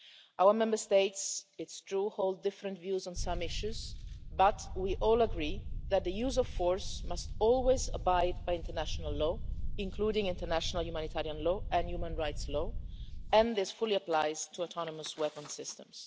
Our Member States, it's true, hold different views on some issues, but we all agree that the use of force must always abide by international law, including international humanitarian law and human rights law, and this fully applies to autonomous weapons systems.